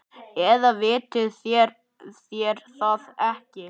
Eða vitið þér það ekki.